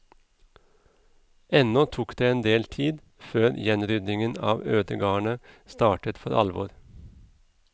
Ennå tok det en del tid før gjenryddingen av ødegardene startet for alvor.